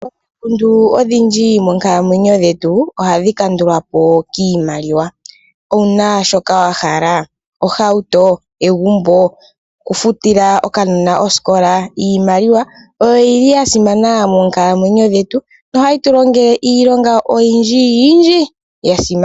Omikundu odhindji monkalamwenyo dhetu ohadhi kandulwapo kiimaliwa. Owuna shoka wahala? Ohauto? Egumbo? Okufutila okanona osikola? Iimaliwa oyo yili yasimana moonkalamwenyo dhetu nohayi tu longele iilonga oyindji ya simana.